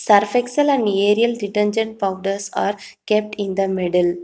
Surf excel and ariel detergent powders are kept in the middle.